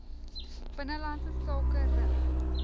binnelandse sake rig